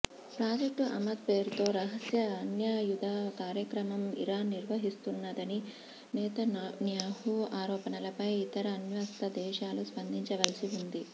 project Amad పేరుతో రహస్య అణ్వాయుధ కార్యక్రమం ఇరాన్ నిర్వహిస్తున్నదని నెతన్యాహు ఆరోపణలపై ఇతర అణ్వస్త్ర దేశాలు స్పందించవలసివుంది